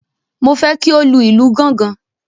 Mo fẹ́ kí ó lu ìlù gángan.